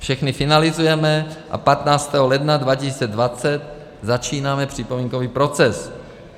Všechny finalizujeme a 15. ledna 2020 začínáme připomínkový proces.